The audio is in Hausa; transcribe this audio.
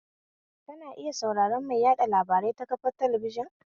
Kana iya sauraran mai yaɗa labarai ta kafar talabijin